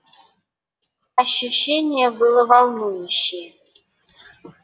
ощущение было волнующее